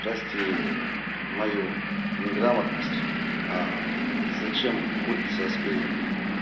прости мою неграмотность а зачем в курице аспирин